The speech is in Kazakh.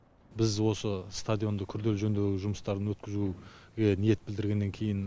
біз осы стадионды күрделі жөндеу жұмыстарын өткізуге ниет білдіргеннен кейін